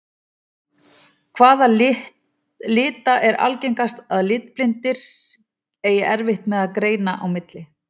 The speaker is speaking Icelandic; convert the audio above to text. Hvaða lita er algengast að litblindir eigi erfitt með að greina á milli?